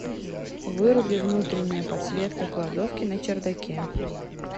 выруби внутренняя подсветка кладовки на чердаке